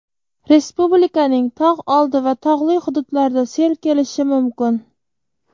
respublikaning tog‘ oldi va tog‘li hududlarida sel kelishi mumkin.